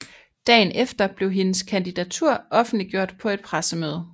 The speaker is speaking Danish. Dagen efter blev hendes kandidatur offentliggjort på et pressemøde